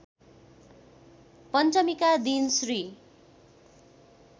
पञ्चमीका दिन श्री